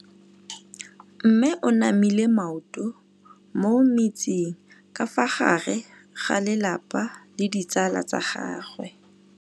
Mme o namile maoto mo mmetseng ka fa gare ga lelapa le ditsala tsa gagwe.